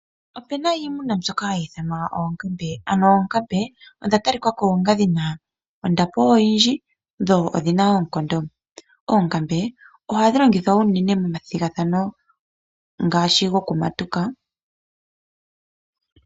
Ope na iimuna mbyoka hayi ithanwa oonkambe. Ano oonkambe odha talika ko onga dhi na ondapo oyindji dho odhi na oonkondo. Oonkambe ohadhi longithwa unene momathigathano ngaashi gokumatuka.